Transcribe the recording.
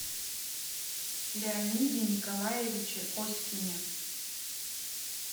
леониде николаевиче оськине